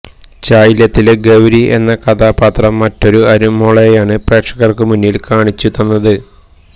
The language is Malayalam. ചായില്യത്തിലെ ഗൌരി എന്ന കഥാപാത്രം മറ്റൊരു അനുമോളേയാണ് പ്രേക്ഷകർക്ക് മുന്നിൽ കാണിച്ചു തന്നത്